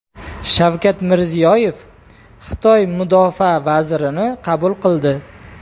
Shavkat Mirziyoyev Xitoy mudofaa vazirini qabul qildi.